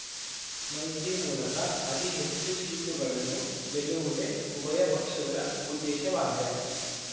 ಮೈತ್ರಿ ಮೂಲಕ ಅತಿ ಹೆಚ್ಚು ಸೀಟುಗಳನ್ನು ಗೆಲ್ಲುವುದೇ ಉಭಯ ಪಕ್ಷಗಳ ಉದ್ದೇಶವಾಗಿದೆ